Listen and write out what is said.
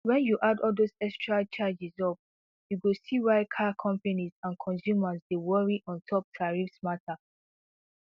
wen you add all dose extra charges up you go see why car companies and consumers dey worry ontop tarrifs matter